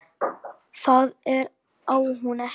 Það á hún ekki.